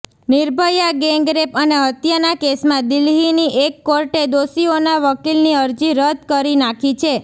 Nirbhaya gangrape અને હત્યાના કેસમાં દિલ્હીની એક કોર્ટે દોષીઓના વકીલની અરજી રદ કરી નાખી છે